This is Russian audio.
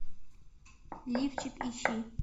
лифчик ищи